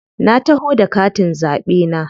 Na taho da katin zaɓe na.